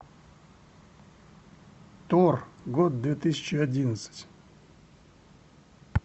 тор год две тысячи одиннадцать